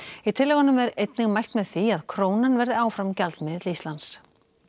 í tillögunum er einnig mælt með því að krónan verði áfram gjaldmiðill Íslands